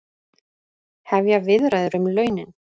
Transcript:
Hefja viðræður um launin